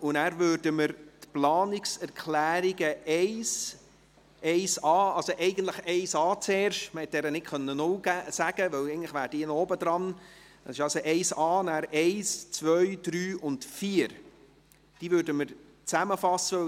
Danach würden wir die Planungserklärungen 1, 1.a, beziehungsweise eigentlich zuerst die 1.a – man konnte sie nicht als Planungserklärung 0 bezeichnen, aber eigentlich käme dies vor der 1 –, dann die Planungserklärungen 1, 2, 3 und 4 zusammenfassen.